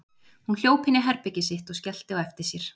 Hún hljóp inn í herbergið sitt og skellti á eftir sér.